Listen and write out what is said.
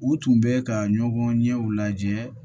U tun bɛ ka ɲɔgɔn ɲɛw lajɛ